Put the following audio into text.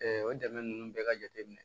o dɛmɛ ninnu bɛɛ ka jateminɛ